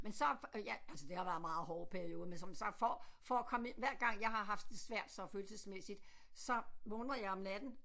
Men så ja altså det har været meget hårde perioder men som så for for at komme hver gang jeg har haft det svært så følelsesmæssigt så vågner jeg om natten